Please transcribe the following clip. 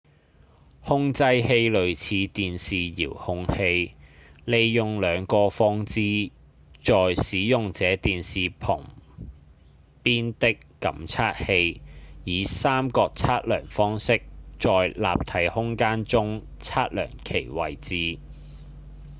控制器類似電視遙控器利用兩個放置在使用者電視旁邊的感測器以三角測量方式在立體空間中測量其位置